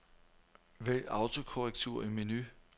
Vælg autokorrektur i menu.